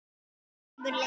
Og kannski mun lengur.